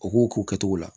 U k'o k'u kɛtogo la